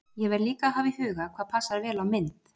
Ég verð líka að hafa í huga hvað passar vel á mynd.